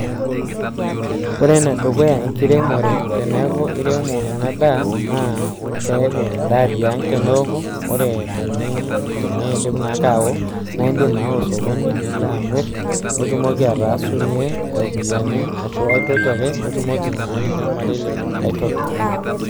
Wore enedukuya enkiremore teneeku iremo ena daa, naa keeku endaa tiang teneoku. Wore teni teneidip naake ao naa iindim aawa osokoni, nilo amirr, nitumoki ataasunyie iropiyani ashu aitoki ake nitumoki ainyiangakinyie olmarei lino ai toki.